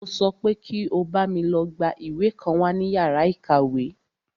Mo sọ pé kí o bámi lọ gbá ìwé kan wá ní yàrá ìkàwé!